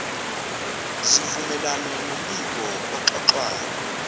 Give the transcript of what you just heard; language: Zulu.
zivumelane nombiko oxoxwayo